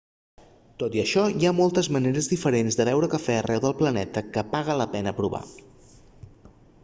tot i això hi ha moltes maneres diferents de beure cafè arreu del planeta que paga la pena provar